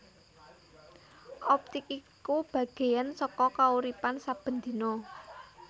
Optik iku bagéyan saka kauripan saben dina